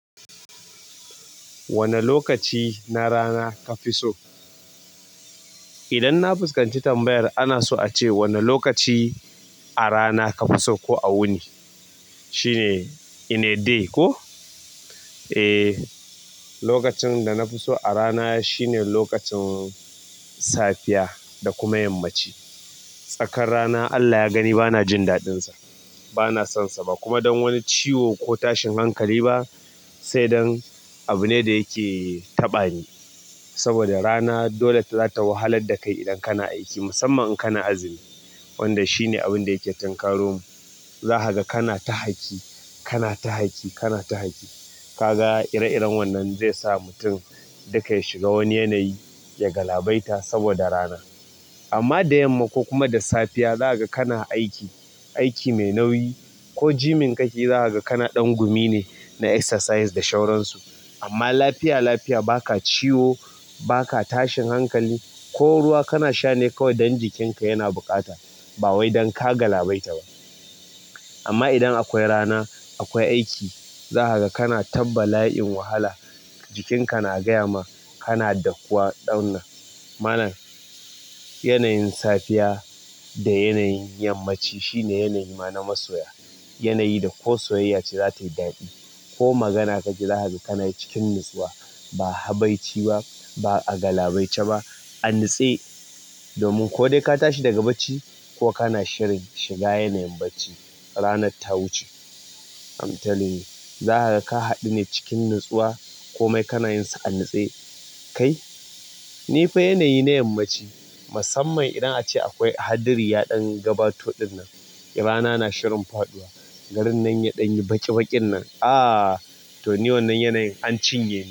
Wane lokaci na rana ka fi so? Idan na fuskanci tambayar ana so a ce wane lokaci a rana ka fi so ko a wuni. Shine "in a day" ko? E, lokacin da na fi so a rana shine lokacin safiya da kuma yammaci. Tsakar rana Allah ya gani bana jin daɗinsa. Bana sonsa ba kuma don wani ciwo ko tashin hankali ba, sai dan abu ne da yake taɓa ni. Saboda rana dole ta zata wahalar da kai idan kana aiki. Musamman in kana azumi, wanda shine abin da yake thankaro mu. Za ka ga kana ta haki, kana ta haki, kana ta haki. Ka ga ire-iren wannan zai sa mutum duka ya shiga wani yanayi ya galabaita saboda rana. Amma da yamma ko kuma da safiya, za ka ga kana aiki, aiki mai nauyi ko jimin ka ki za ka ga kana ɗan gumi ne na exercise da sauransu. Amma lafiya lafiya, ba ka ciwo, ba ka tashin hankali, ko ruwa kana sha ne kawai don jikinka yana buƙata ba wai don ka galabaita ba. Amma idan akwai rana, akwai aiki. Za ka ga kana ta bala'in wahala, jikin ka na gaya ma kana dakuwa ɗauna. Ma'ana, yanayin safiya da yanayin yammaci shine yanayi ma na masoya. Yanayi da ko soyayya ce za ta yi daɗi ko magana kake za ka ga kana cikin nitsuwa. Ba habaici ba, ba a galabaice ba. An nitse domin ko dai ka tashi daga bacci ko kana shirin shiga yanayin bacci, ranar ta wuce. I'm telling you. Zaka ga ka haddune cikin nitsuwa ko mai kana yin sa an nitse. Kai, ni fa yanayi na yammaci. Musamman idan a ce akwai haɗari ya ɗan gabato ɗinnan, rana na shirin faɗuwa. Garin nan ya ɗanyi baƙi bakin nan to ni wannan yanayi an cinye ni.